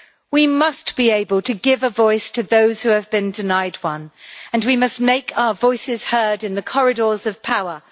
We must be able to give a voice to those who have been denied one and we must make our voices heard in the corridors of power.